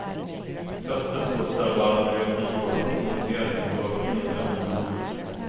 Fästet kostar bara några tior och monteringen går på mindre än en minut.